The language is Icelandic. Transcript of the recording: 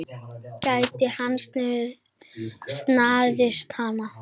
Gæti hann staðist hana?